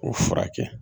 O furakɛ